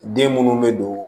Den munnu be don